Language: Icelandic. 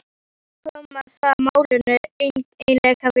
Hvað koma það málinu eiginlega við?